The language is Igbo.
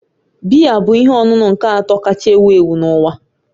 Biya bụ ihe ọṅụṅụ nke atọ kacha ewu ewu n'uwa